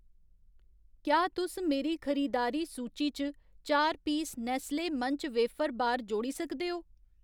क्या तुस मेरी खरीदारी सूची च चार piece Nestle Munch wafer bar जोड़ी सकदे ओ?